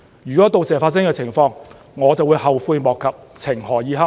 如果到時發生這樣的情況，我就會後悔莫及，情何以堪。